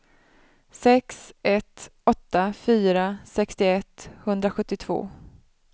sex ett åtta fyra sextioett sjuhundrasjuttiotvå